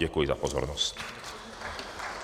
Děkuji za pozornost.